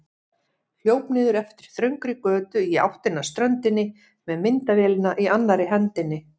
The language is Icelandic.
Hljóp niður eftir þröngri götu í áttina að ströndinni með myndavélina í annarri hendinni.